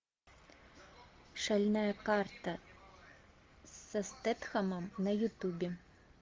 шальная карта со стетхемом на ютубе